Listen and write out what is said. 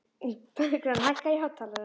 Bergrán, hækkaðu í hátalaranum.